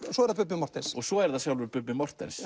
svo er það Bubbi Morthens svo er það sjálfur Bubbi Morthens